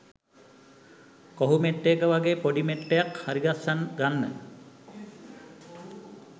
කොහු මෙට්ටයක වගේ පොඩි මෙට්ටයක් හරිගස්ස ගන්න